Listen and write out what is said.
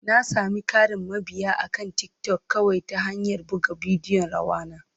Na sami ƙarin mabiya akan TikTok kawai ta hanyar buga bidiyon rawa na.